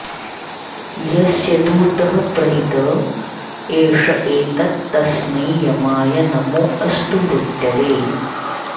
यस्य॑ दू॒तः प्रहि॑त ए॒ष ए॒तत्तस्मै॑ य॒माय॒ नमो॑ अस्तु मृ॒त्यवे॑